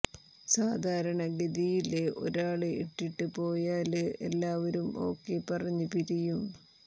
സാധാരണ ഗതിയില് ഒരാള് ഇട്ടിട്ട് പോയാല് എല്ലാവരും ഓക്കെ പറഞ്ഞ് പിരിയും